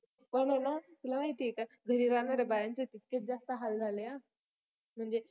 पण आहे न तुला माहिती आहे का घरी राहणार्‍या बायांचे तितकेच जास्त हाल झाले हा म्हणजे